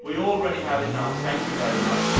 We already have enough, thank you very much.